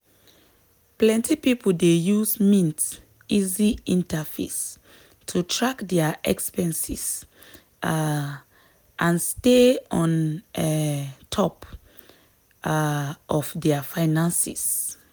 plenty people dey use mint easy interface to track dia expenses um and stay on um top um of dia finances.